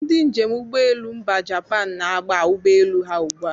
Ndị njem ụgbọelu mba Japan na-aba ụgbọelu ha ugbu a.